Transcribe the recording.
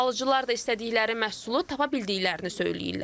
Alıcılar da istədikləri məhsulu tapa bildiklərini söyləyirlər.